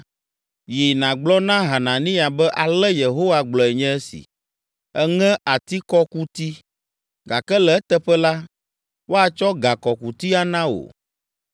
“Yi nàgblɔ na Hananiya be ale Yehowa gblɔe nye esi: ‘Èŋe atikɔkuti, gake le eteƒe la, woatsɔ gakɔkuti ana wo.